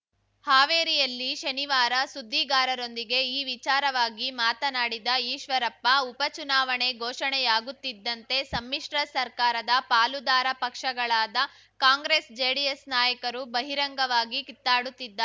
ಹಾವೇರಿಯಲ್ಲಿ ಶನಿವಾರ ಸುದ್ದಿಗಾರರೊಂದಿಗೆ ಈ ವಿಚಾರವಾಗಿ ಮಾತನಾಡಿದ ಈಶ್ವರಪ್ಪ ಉಪ ಚುನಾವಣೆ ಘೋಷಣೆಯಾಗುತ್ತಿದ್ದಂತೆ ಸಮ್ಮಿಶ್ರ ಸರ್ಕಾರದ ಪಾಲುದಾರ ಪಕ್ಷಗಳಾದ ಕಾಂಗ್ರೆಸ್‌ ಜೆಡಿಎಸ್‌ ನಾಯಕರು ಬಹಿರಂಗವಾಗಿ ಕಿತ್ತಾಡುತ್ತಿದ್ದಾರೆ